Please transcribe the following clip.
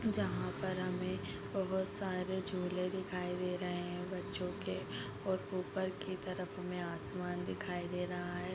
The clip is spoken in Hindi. जहाँ पर हमें बहुत सारे झोले दिखाई दे रहे हैं और बच्चों के और ऊपर के तरफ में आसमान दिखाई दे रहा है।